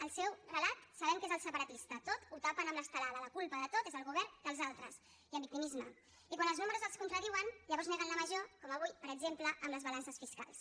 el seu relat sabem que és el separatista tot ho tapen amb l’estelada la culpa de tot és del govern dels altres i amb victimisme i quan els números els contradiuen llavors neguen la major com avui per exemple amb les balances fiscals